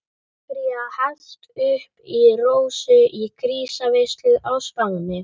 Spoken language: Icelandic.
Sangría hellt upp í Rósu í grísaveislu á Spáni.